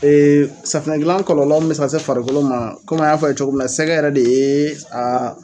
safunɛ gilan kɔlɔlɔ min bi se ka se farikolo ma kɔmi an y'a fɔ ye, cogo min na sɛgɛyɛrɛ de ye